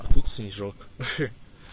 а тут снежок хе